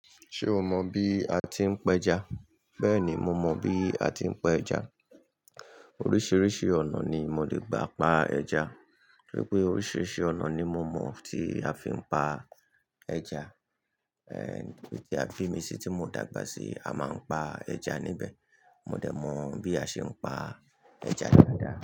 Ṣé o mọ bí a ti ń pẹja? Bẹ́ẹ̀ni, mo mọ bí a ti ń pa ẹja. Oríṣiríṣi ọ̀nà ni mo lè gbà pa ẹja. Rí pé oríṣiríṣi ọ̀nà ni mo mọ̀ tí a fi ń pa ẹja. Ehn, bí i tí a bi mi sí tí mo dàgbà sí, a máa ń pa ẹja níbẹ̀. Mo dẹ̀ mọ̀ bí a ṣe ń pa ẹja dáadáa.